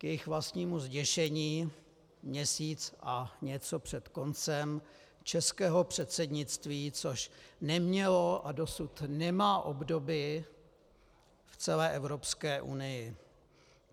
K jejich vlastnímu zděšení měsíc a něco před koncem českého předsednictví, což nemělo a dosud nemá obdoby v celé Evropské unii.